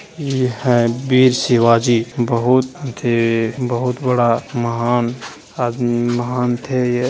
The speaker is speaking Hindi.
ये है बीर शिवाजी बहुत थे बहुत बड़ा महान आदमी महान थेये --